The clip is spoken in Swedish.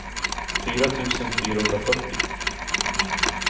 fyra tusen fyrahundrafyrtio